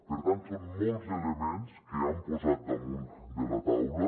per tant són molts els elements que han posat damunt de la taula